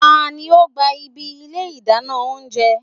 Tani o gba ibi ilé idana ounjẹ?